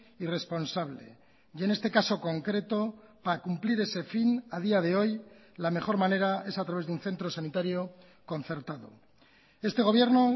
y responsable y en este caso concreto para cumplir ese fin a día de hoy la mejor manera es a través de un centro sanitario concertado este gobierno